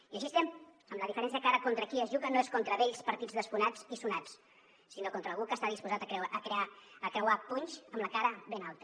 i així estem amb la diferència que ara contra qui es juga no és contra vells partits desfonats i sonats sinó contra algú que està disposat a creuar punys amb la cara ben alta